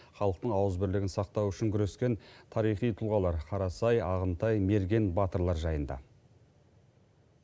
халықтың ауызбірлігін сақтау үшін күрескен тарихи тұлғалар қарасай ағынтай мерген батырлар жайында